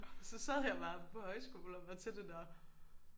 Så sad jeg bare på højskole og var til det der